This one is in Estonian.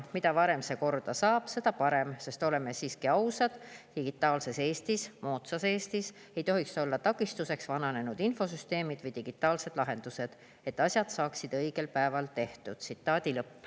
Mida varem see korda saab, seda parem, sest oleme siiski ausad, digitaalses Eestis, moodsas Eestis ei tohiks olla takistuseks vananenud infosüsteemid või digitaalsed lahendused, et asjad saaksid õigel päeval tehtud.